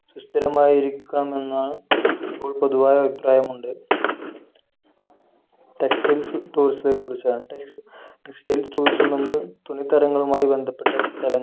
സുസ്ഥിരമായിരിക്കണമെന്നാണ് ഇപ്പോൾ പൊതുവായ അഭിപ്രായമുണ്ട് textiles tourism ത്തെ കുറിച്ചാണ് tex textile tourism എന്നത് തുണിത്തരങ്ങളുമായി ബന്ധപ്പെട്ട സ്ഥലങ്ങൾ